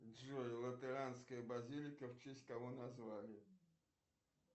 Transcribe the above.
джой латеранская базилика в честь кого назвали